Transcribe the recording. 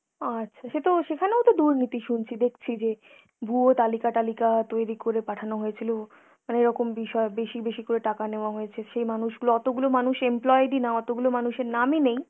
আচ্ছা, সেতো সেখানেও তো দুর্নীতি শুনছি, দেখছি যে ভুয়ো তালিকা-টালিকা তৈরী করে পাঠানো হয়েছিল। অনেকরকম বিষয়ে বেশি বেশি করে টাকা নেওয়া হয়েছে। সেই মানুষগুলো, অতগুলো মানুষ employee ID না, অতগুলো মানুষের নামই নেই